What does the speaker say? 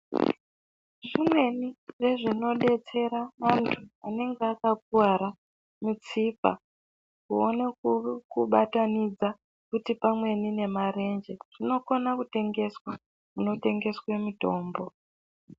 Zvimweni zvezvinodetsera vanthu vanenge vakakuwara mutsipa kuone kubatanidza kuti pamweni nemarenje zvinokone kutengeswa kunotengeswe mitombo.